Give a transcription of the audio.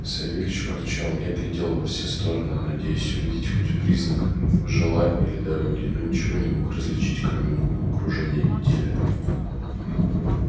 савельич ворчал я глядел во все стороны надеясь увидеть хоть признак жила или дороги но ничего не мог различить кроме мутного кружения метели